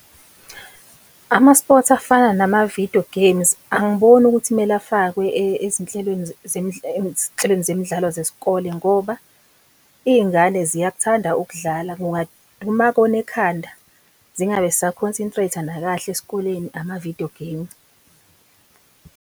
Ama-sports afana nama-video games angiboni ukuthi kumele afakwe ezinhlelweni ezinhlelweni zemidlalo zesikole ngoba iy'ngane ziyakuthanda ukudlala, kungaduma kona ekhanda zingabe zisa-concentrate-a nakahle esikoleni ama-video game.